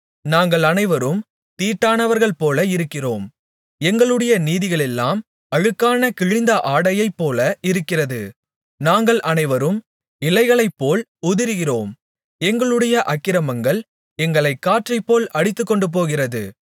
நாங்கள் அனைவரும் தீட்டானவர்கள்போல இருக்கிறோம் எங்களுடைய நீதிகளெல்லாம் அழுக்கான கிழிந்த ஆடையைப்போல இருக்கிறது நாங்கள் அனைவரும் இலைகளைப்போல் உதிருகிறோம் எங்களுடைய அக்கிரமங்கள் எங்களைக் காற்றைப்போல் அடித்துக்கொண்டுபோகிறது